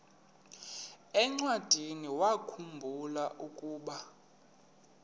encwadiniwakhu mbula ukuba